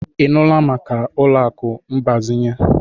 Ị nụla maka ụlọ akụ mgbazinye?